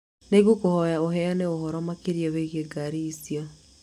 Nĩ ngũkũhoya ũheane ũhoro makĩria wĩgiĩ ngaari icio.